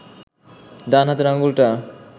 ডান হাতের আঙুলটা